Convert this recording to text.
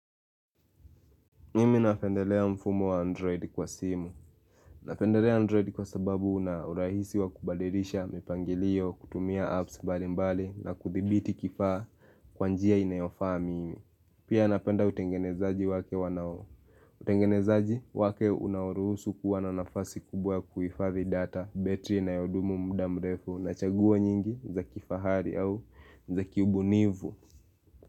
Mimi nafendelea mfumo wa Android kwa simu. Nafendelea Android kwa sababu unaurahisi wa kubadirisha, mipangilio, kutumia apps balimbali na kuthibiti kifaa kwanjia inayofa mimi. Pia napenda utengenezaji wake wanao. Utengenezaji wake unawurusu kuwa na nafasi kubwa kuifathi data, battery na yodumu mdamrefu na chaguwo nyingi za kifahari au za kiubunivu.